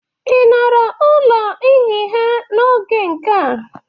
Ị nọrọ ụlọ nhịha n'oge nke gị?